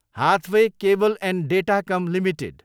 Hathaway Cable and Datacom limited